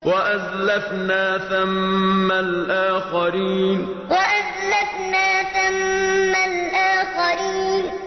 وَأَزْلَفْنَا ثَمَّ الْآخَرِينَ وَأَزْلَفْنَا ثَمَّ الْآخَرِينَ